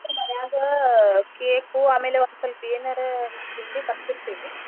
ಆಮ್ಯಾಗ್ cake ಉ ಆಮೇಲೆ ಒಂದ್ಸ್ವಲ್ಪ ಏನರ ಹಿಂಗ್ ತಿಂಡಿ ತರ್ಸಿರ್ತೇವಿ.